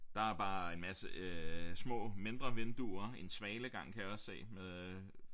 Der er bare en masse øh små mindre vinduer en svalegang kan jeg også se med